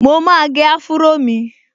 Mo máa gẹ áfúró mi